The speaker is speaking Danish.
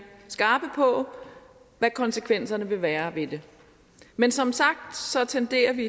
skarpe på hvad konsekvensen vil være af det men som sagt tenderer vi